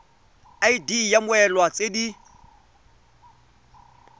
id ya mmoelwa tse di